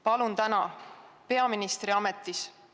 Täna te olete peaministri ametis.